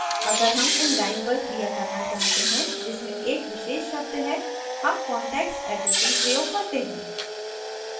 अगर हम उन lines पर क्रिया करना चाहते हैं जिसमें एक विशेष शब्द है हम context addressing प्रयोग करते हैं